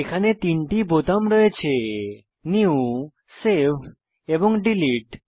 এতে তিনটি বোতাম রয়েছে নিউ সেভ এবং ডিলিট